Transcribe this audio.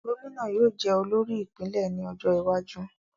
Gómìnà yóò jẹ olórí ìpínlè ní ọjó iwájú